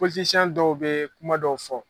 Pɔlitisiɲɛn dɔw bɛ kuma dɔw fɔ.